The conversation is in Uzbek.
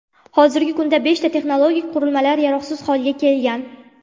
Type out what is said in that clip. Hozirgi kunda beshta texnologik qurilmalar yaroqsiz holga kelgan.